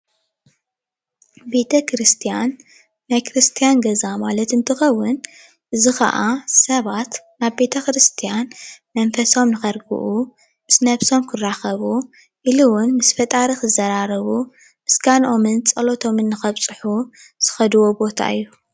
ቤተ-ክርስትያን ናይ ክርስትያን ገዛ ማለት እንት ከውን እዚ ካዓ ሰባት ናብ ቤተ-ክርስትያን መንፈሶም ንከርጉኡ ምስ ነብሶም ክራከቡ ኢሉ እውን ምስ ፈጣሪ ክዘራርቡ ምስግኖአም ፀሎቶምን ንከብፅሑ ዝከድዎ ቦታ እዩ፡፡